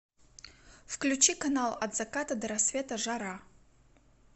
включи канал от заката до рассвета жара